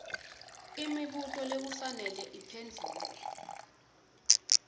imibuto lekufanele iphendvulwe